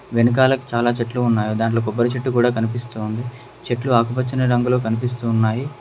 వెనకాల చాలా చెట్లు ఉన్నాయి దాంట్లో కొబ్బరి చెట్టు కూడా కనిపిస్తూ ఉంది చెట్లు ఆకుపచ్చని రంగులో కనిపిస్తూ ఉన్నాయి.